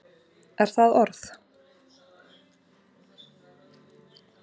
Er það orð?